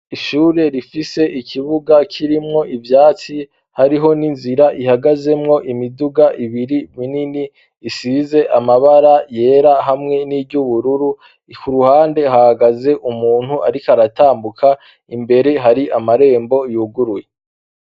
Ishure rifise ikibuga kirimwo ivyatsi hariho n'inzira ihagazemwo imiduga ibiri minini isize amabara yera hamwe n'iry'ubururu, ku ruhande hahagaze umuntu ariko aratambuka, imbere hari amarembo yuguruye.